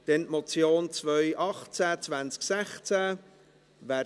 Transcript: Wir kommen zur Motion 218-2016: